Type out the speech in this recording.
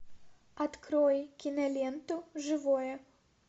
открой киноленту живое